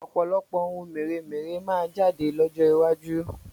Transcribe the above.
Ọ̀pọ̀lọpọ̀ oun mèremère máa jáde lọ́jọ́ iwájú